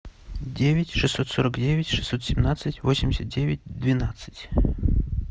девять шестьсот сорок девять шестьсот семнадцать восемьдесят девять двенадцать